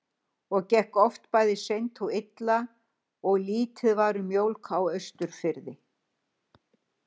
Það gekk oft bæði seint og illa og lítið var um mjólk á Austurfirði.